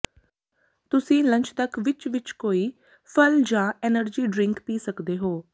ਤੁਸੀਂ ਲੰਚ ਤੱਕ ਵਿਚ ਵਿਚ ਕੋਈ ਫਲ ਜਾਂ ਐਨਰਜੀ ਡਰਿੰਕ ਪੀ ਸਕਦੇ ਹੋ